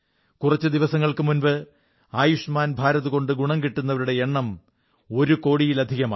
കുറച്ചു ദിവസങ്ങൾക്ക് മുമ്പ് ആയുഷ്മാൻ ഭാരത് കൊണ്ട് ഗുണം കിട്ടുന്നവരുടെ എണ്ണം ഒരു കോടിയിലധികമായി